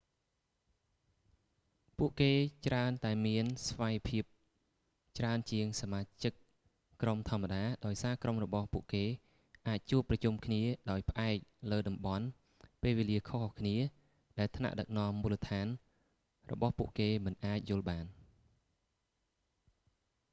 ពួកគេច្រើនតែមានស្វ័យភាពច្រើនជាងសមាជិកក្រុមធម្មតាដោយសារក្រុមរបស់ពួកគេ អាចជួបប្រជុំគ្នាដោយផ្អែកលើតំបន់ ពេលវេលាខុសៗគ្នា ដែលថ្នាក់ដឹកនាំមូលដ្ឋានរបស់ពួកគេមិនអាចយល់បាន